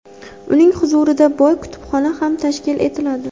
Uning huzurida boy kutubxona ham tashkil etiladi.